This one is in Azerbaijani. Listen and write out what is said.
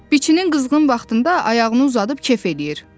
Biçinin qızğın vaxtında ayağını uzadıb kef eləyir.